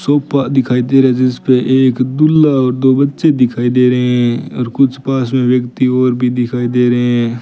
Sofa दिखाई दे रहे जिसपे एक दूल्हा और दो बच्चे दिखाई दे रहे हैं और कुछ पास में व्यक्ति और भी दिखाई दे रहे हैं।